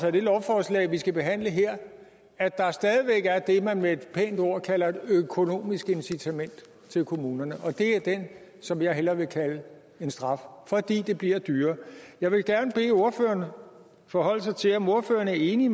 af det lovforslag vi skal behandle her at der stadig væk er det man med et pænt ord kalder et økonomisk incitament til kommunerne og det er det som jeg hellere vil kalde en straf fordi det bliver dyrere jeg vil gerne bede ordføreren forholde sig til om ordføreren er enig